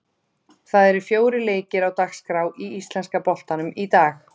Það eru fjórir leikir á dagskrá í íslenska boltanum í dag.